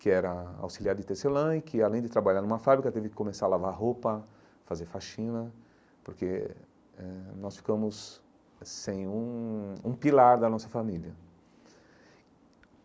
que era auxiliar de Tecelã e que, além de trabalhar numa fábrica, teve que começar a lavar roupa, fazer faxina, porque eh nós ficamos sem um um pilar da nossa família.